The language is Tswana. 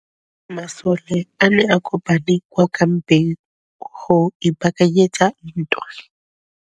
Masole a ne a kopane kwa kampeng go ipaakanyetsa ntwa.